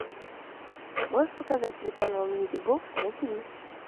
можешь показать телеканал мьюзик бокс на тв